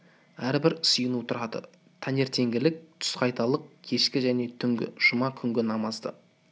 әрбір сыйыну тұрады таңертеңгілік тұсқайталық кешкі және түнгі жұма күнгі намазды